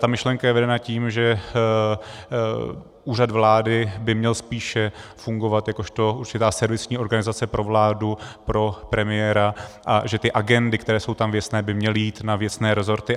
Ta myšlenka je vedena tím, že Úřad vlády by měl spíše fungovat jakožto určitá servisní organizace pro vládu, pro premiéra a že ty agendy, které jsou tam věcné, by měly jít na věcné rezorty.